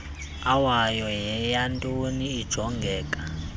owayo yeyantoni ijongeka